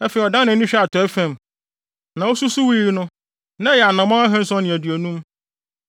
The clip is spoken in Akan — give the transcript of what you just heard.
Afei ɔdan nʼani hwɛɛ atɔe fam, na osusuwii no, na ɛyɛ anammɔn ahanson ne aduonum.